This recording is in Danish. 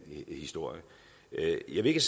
historie jeg vil ikke